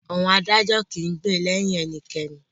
Àwọn adájọ́ kìí gbè lẹyìn ẹnikẹ́ni.